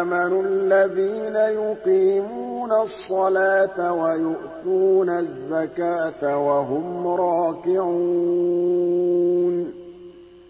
آمَنُوا الَّذِينَ يُقِيمُونَ الصَّلَاةَ وَيُؤْتُونَ الزَّكَاةَ وَهُمْ رَاكِعُونَ